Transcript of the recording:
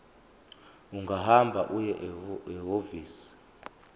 ungahamba uye ehhovisi